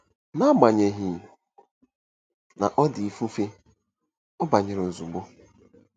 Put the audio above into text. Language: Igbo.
N'agbanyeghị na ọ dị ifufe, ọ banyere ozugbo.